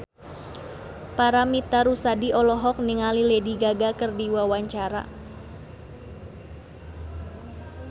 Paramitha Rusady olohok ningali Lady Gaga keur diwawancara